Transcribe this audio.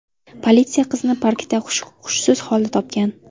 Politsiya qizni parkda hushsiz holda topgan.